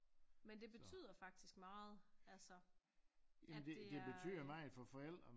Men det betyder faktisk meget altså at det er øh